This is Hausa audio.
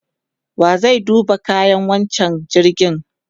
wa zai duba kayan wancan jirgin?